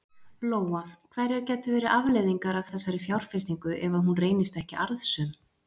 Lóa: Hverjar gætu verið afleiðingar af þessari fjárfestingu ef að hún reynist ekki arðsöm?